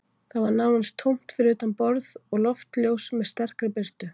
Það var nánast tómt fyrir utan borð og loftljós með sterkri birtu